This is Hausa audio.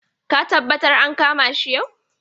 Ka taɓattar an kama shi yau.